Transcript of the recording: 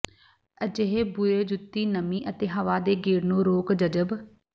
ਅਜਿਹੇ ਬੁਰੇ ਜੁੱਤੀ ਨਮੀ ਅਤੇ ਹਵਾ ਦੇ ਗੇੜ ਨੂੰ ਰੋਕ ਜਜ਼ਬ